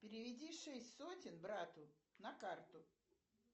переведи шесть сотен брату на карту